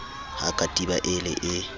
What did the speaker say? ha katiba e le e